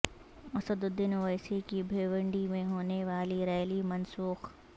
اسدالدین اویسی کی بھیونڈی میں ہونے والی ریلی منسوخ